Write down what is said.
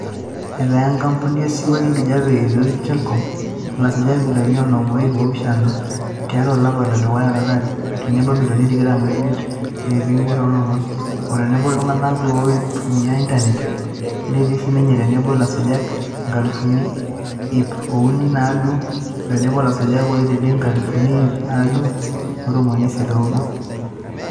Eetaa Enkampuni osiwuo lenkijape e Ethio Telcom ilasujak imilioni onom o iip oopishana tiatu olapa ledukuya lolari, tenebo imilioni tikitam oomiet o iip imiet oo lomon, ootenebo iltunganak looitumia internet, neeti sinenye tenebo ilasujak inkalifuni iip uni o naaudo oo tenebo ilasujak oodede inkalifuni iip naaudo o ntomoni siet o nabo.